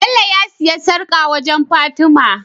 Bello ya siya sarƙa wajan fatima